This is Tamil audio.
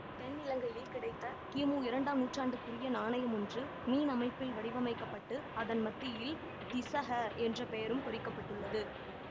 தென்னிலங்கையில் கிடைத்த கிமு இரண்டாம் நூற்றாண்டுக்குரிய நாணயம் ஒன்று மீன் அமைப்பில் வடிவமைக்க பட்டு அதன் மத்தியில் திஸஹ என்ற பெயரும் பொறிக்கப்பட்டுள்ளது